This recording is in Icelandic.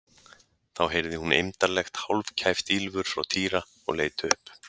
Þá heyrði hún eymdarlegt, hálfkæft ýlfur frá Týra og leit upp.